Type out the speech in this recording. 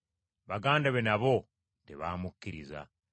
Baganda be nabo tebaamukkiriza.